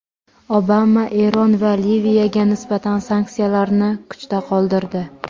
Obama Eron va Liviyaga nisbatan sanksiyalarni kuchda qoldirdi.